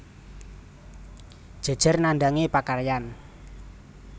Jejer nandhangi pakaryan